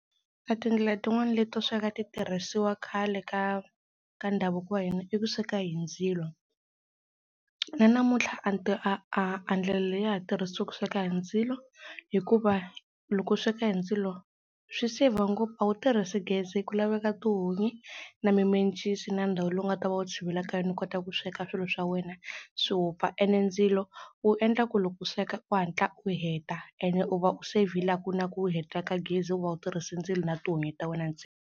A tindlela tin'wana leto sweka a ti tirhisiwa khale ka ka ndhavuko wa hina i ku sweka hi ndzilo na namuntlha a a ndlela leyi ya ha tirhiswa ku sweka hi ndzilo hikuva loko u sweka hi ndzilo swi save ngopfu a wu tirhisi gezi ku laveka tihunyi na mimencisi na ndhawu leyi u nga ta va u tshivela ka yona u kota ku sweka swilo swa wena swi wupfa ene ndzilo u endla ku loku u sweka u hatla ene u va u save-ile a ku na ku heta ka gezi u va u tirhise ndzilo na tihunyi ta wena .